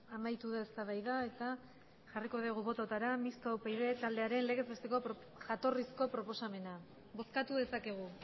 amaitu da eztabaida eta jarriko dugu botoetara mistoa upyd taldearen legez besteko jatorrizko proposamena bozkatu dezakegu